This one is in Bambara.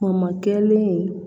Kuma kelen in